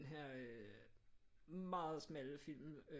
Her øh meget smalle film